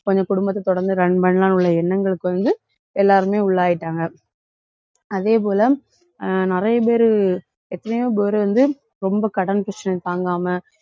கொஞ்சம் குடும்பத்த தொடர்ந்து run பண்ணலாம்னு உள்ள எண்ணங்களுக்கு வந்து, எல்லாருமே உள்ளாயிட்டாங்க. அதே போல அஹ் நிறைய பேரு எத்தனையோ பேரு வந்து ரொம்ப கடன் பிரச்சனை தாங்காம